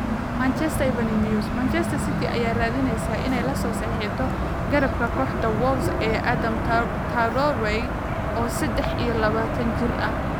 (Manchester Evening News) Manchester City ayaa raadineysa inay lasoo saxiixato garabka kooxda Wolves ee Adama Traore, oo sedex iyo labatan jir ah.